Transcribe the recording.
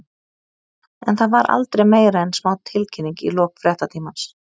En það var aldrei meira en smá tilkynning í lok fréttatímans.